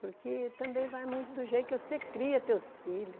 Porque também vai muito do jeito que você cria teus filhos.